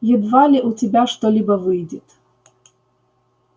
едва ли у тебя что-либо выйдет